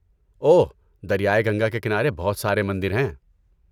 اوہ، دریائے گنگا کے کنارے بہت سارے مندر ہیں۔